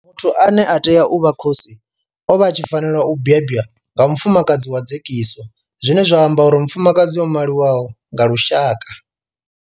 Muthu ane a tea u vha khosi o vha a tshi fanela u bebwa nga mufumakadzi wa dzekiso zwine zwa amba uri mufumakadzi o maliwaho nga lushaka.